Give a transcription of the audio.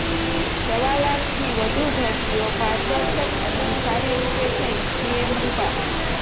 સવા લાખથી વધુ ભરતીઓ પારદર્શક અને સારી રીતે થઇઃ સીએમ રૂપાણી